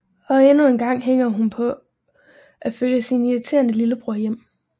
Og endnu engang hænger hun på at følge sin irriterende lillebror hjem